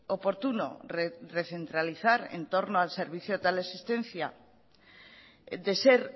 oportuno recentralizar en torno al servicio de teleasistencia de ser